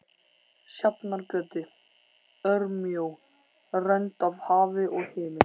Sjafnargötu, örmjó rönd af hafi og himinn.